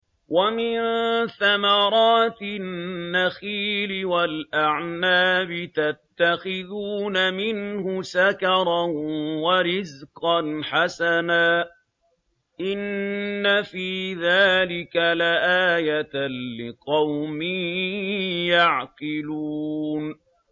وَمِن ثَمَرَاتِ النَّخِيلِ وَالْأَعْنَابِ تَتَّخِذُونَ مِنْهُ سَكَرًا وَرِزْقًا حَسَنًا ۗ إِنَّ فِي ذَٰلِكَ لَآيَةً لِّقَوْمٍ يَعْقِلُونَ